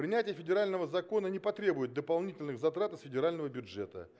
принятие федерального закона не потребует дополнительных затрат из федерального бюджета